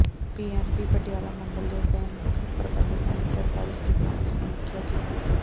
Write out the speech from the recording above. PNB Patiala ਮੰਡਲ ਦੇ bank ਪ੍ਰਬੰਧਕਾਂ ਨੇ ਸਰਕਾਰੀ ਸਕੀਮਾਂ ਦੀ ਸਮੀਖਿਆ ਕੀਤੀ